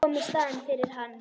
Koma í staðinn fyrir hann.